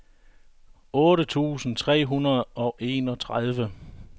otte tusind tre hundrede og enogtredive